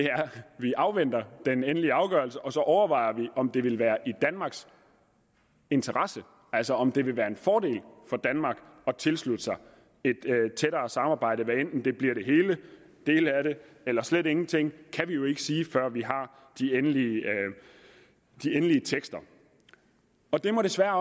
at vi afventer den endelige afgørelse og så overvejer vi om det vil være i danmarks interesse altså om det vil være en fordel for danmark at tilslutte sig et tættere samarbejde hvad enten det bliver det hele en del af det eller slet ingenting kan vi jo ikke sige før vi har de endelige tekster og det må desværre